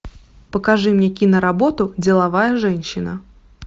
покажи мне киноработу деловая женщина